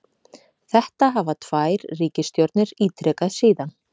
Þetta hafa tvær ríkisstjórnir ítrekað síðan